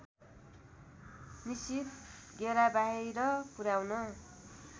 निश्चित घेराबाहिर पुर्‍याउन